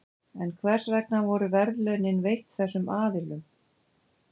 en hvers vegna voru verðlaunin veitt þessum aðilum